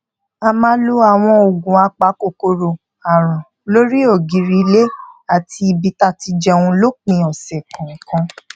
a máa lo àwọn oògùn apakòkòrò àrùn lórí ògiri ilè àti ibi tá ti jẹun lópin òsè kòòkan